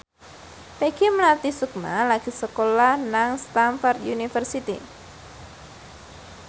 Peggy Melati Sukma lagi sekolah nang Stamford University